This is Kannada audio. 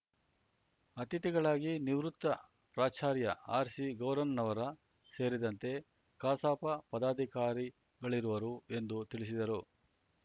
ಅತಿಥಿಗಳಾಗಿ ನಿವೃತ್ ಪ್ರಾಚಾರ್ಯ ಆರ್ ಸಿ ಗೌರನ್ನವರ ಸೇರಿದಂತೆ ಕಸಾಪ ಪಧಾಧಿಕಾರಿಗಳಿರುವರು ಎಂದು ತಿಳಿಸಿದರು